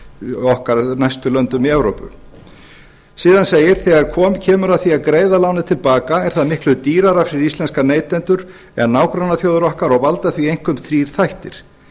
sem sagt okkar næst löndum í evrópu síðan segir þegar kemur að því að greiða lánið til baka er það miklu dýrara fyrir íslenska neytendur en nágrannaþjóðir okkar og því valda því einkum þrír þættir